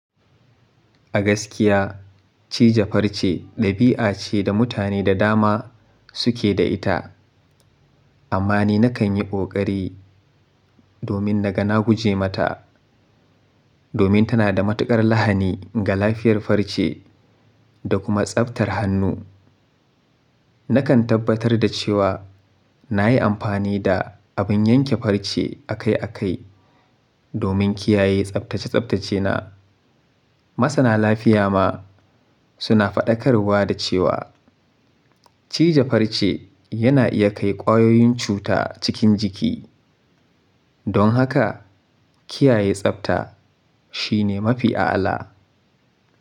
Agaskiya, cija farce ɗabi'a ce da mutane da dama suke da ita, amma ni nakan yi ƙoƙari domin na ga na guje mata, domin tana da matuƙar lahani ga lafiyar farce da kuma tsaftar hannu. Nakan tabbatar da cewa na yi amfani da abin yanke farce akai akai domin kiyaye tsaftace-tsaftacena. Masana lafiya ma suna faɗakarwa da cewa cija farce yana iya kai ƙwayoyin cuta cikin jiki. Don haka, kiyaye tsafta shine mafi a'ala.